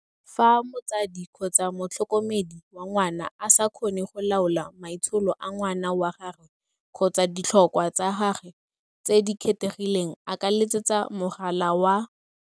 Fa motsadi kgotsa motlhokomedi wa ngwana a sa kgone go laola maitsholo a ngwana wa gagwe kgotsa ditlhokwa tsa gagwe tse di kgethegileng a ka letsetsa mogala wa.